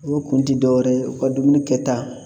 O kun ti dɔ wɛrɛ ye u ka dumuni kɛta